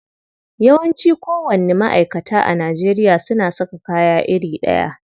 Yawanci kowanni ma'aikata a Najeriya suna saka kaya iri ɗaya.